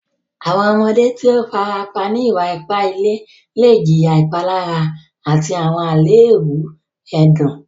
Àwọn ọmọdé tó o fàràpà ní ìwà-ìpà ìlẹ̀ lẹ̀ jìyà ìpàlárà àti àwọn alẹèbù ẹdùn.